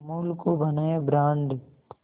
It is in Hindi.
अमूल को बनाया ब्रांड